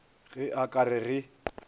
ge a ka re ge